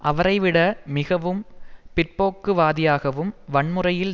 அவரை விட மிகவும் பிற்போக்குவாதியாகவும் வன்முறையில்